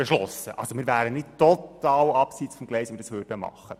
Wir wären also nicht total im Abseits, wenn wir ihn annehmen würden.